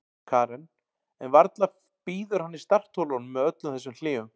Karen: En varla bíður hann í startholunum með öllum þessum hléum?